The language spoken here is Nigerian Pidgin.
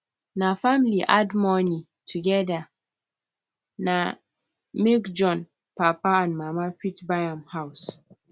the family add money together na make john papa and mama fit buy am house